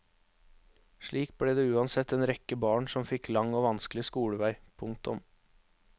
Slik ble det uansett en rekke barn som fikk lang og vanskelig skolevei. punktum